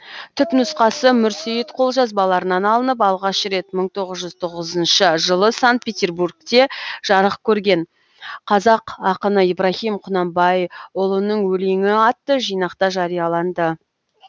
түпнұсқасы мүрсейіт қолжазбаларынан алынып алғаш рет мың тоғыз жүз тоқсан тоғызыншы жылы санкт петербургте жарық көрген қазақ ақыны ибраһим құнанбайұлының өлеңі атты жинақта жарияланды